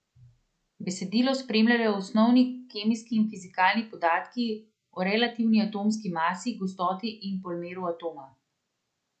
Besedilo spremljajo osnovni kemijski in fizikalni podatki o relativni atomski masi, gostoti in polmeru atoma.